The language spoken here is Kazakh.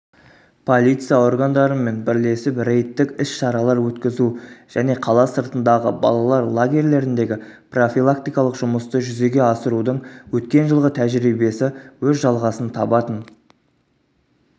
полиция органдарынмен бірлесіп рейдтік іс-шаралар өткізу және қала сыртындағы балалар лагерлеріндегі профилактикалық жұмысты жүзеге асырудың өткен жылғы тәжірибесі өз жалғасын табатын